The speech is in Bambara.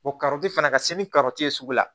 O fana ka se ni ye sugu la